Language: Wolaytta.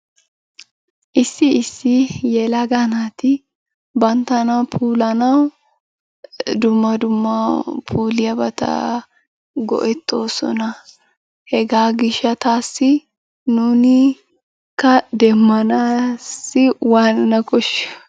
Issi issi yelaga naati banttana puulayanawu dumma dumma puulayiyobata go"ettoosona. Hegaa gishshataassi nuunikka demmanassi waanana koshshiyo?